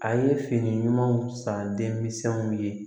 A ye fini ɲumanw san denminsɛnw ye